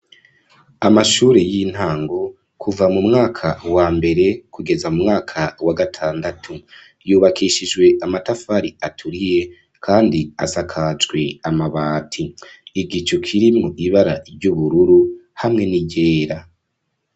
Amashure yintango kuva mumwaka wambere kugeza mumwaka wa gatandatu yubakishijwe amatafari aturiye kandi asakajwe amabati ,igicu kirimwo ibara ry’ubururu hamwe ni ryera.